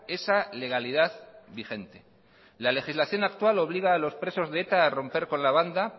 esa legalidad vigente la legislación actual obliga a los presos de eta a romper con la banda